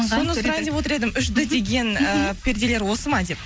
соны сұрайын деп отыр едім үш д деген ііі перделер осы ма деп